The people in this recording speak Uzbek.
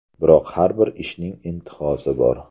Biroq har bir ishning intihosi bor.